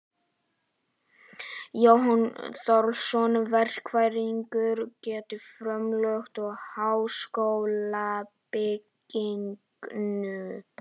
Jón Þorláksson, verkfræðingur, gerði frumdrög að háskólabyggingu